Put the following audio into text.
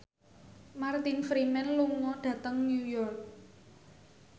Martin Freeman lunga dhateng New York